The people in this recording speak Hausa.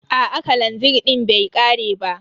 Aa kalanzir din bai ƙare ba.